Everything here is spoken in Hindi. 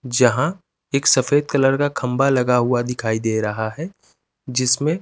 जहा एक सफ़ेद कलर का खम्बा लगा हुआ दिखाई देरा हे जिसमे --